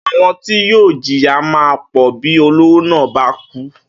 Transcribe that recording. Àwo̩n ti yóò jìyà máa pò̩ bí olówó náà bá kú